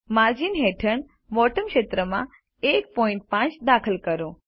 margins હેઠળ bottom ક્ષેત્રમાં 15 દાખલ કરો